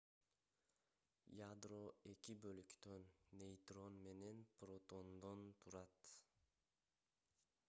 ядро 2 бөлүктөн нейтрон менен протондон турат